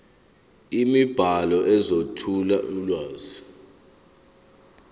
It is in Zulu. imibhalo ezethula ulwazi